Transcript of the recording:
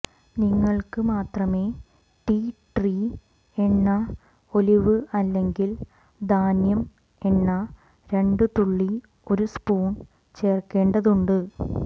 നിങ്ങൾക്ക് മാത്രമേ tea tree എണ്ണ ഒലിവ് അല്ലെങ്കിൽ ധാന്യം എണ്ണ രണ്ടു തുള്ളി ഒരു സ്പൂൺ ചേർക്കേണ്ടതുണ്ട്